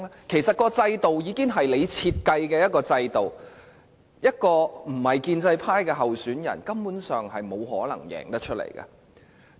其實這已是中央設計的制度，非建制派的候選人根本沒有可能勝出。